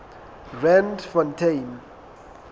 randfontein